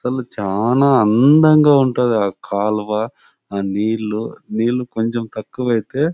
చల్ చాలా అందంగా ఉంటాది ఆ కాలువ. ఆ నీళ్లు నీళ్లు కొంచెం తక్కువైతే--